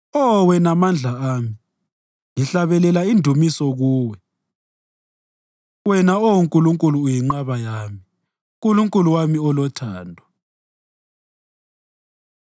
Oh wena Mandla ami, ngihlabelela indumiso kuwe; wena, Oh Nkulunkulu uyinqaba yami, Nkulunkulu wami olothando.